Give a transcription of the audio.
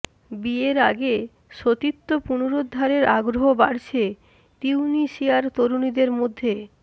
বিয়ের আগে সতীত্ব পুনরুদ্ধারের আগ্রহ বাড়ছে তিউনিসিয়ার তরুণীদের মধ্যে